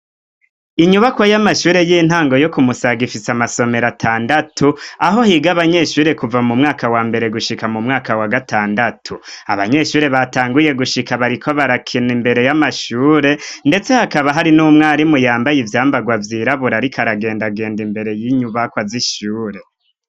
Inyubako y'amashure y'intango yo kumusagaifisa amasomero atandatu aho higa abanyeshure kuva mu mwaka wa mbere gushika mu mwaka wa gatandatu abanyeshure batanguye gushika bariko barakina imbere y'amashure, ndetse hakaba hari n'umwarimu yambaye ivyambarwa vyirabura, ariko aragenda genda imbere y'inyubako azishure.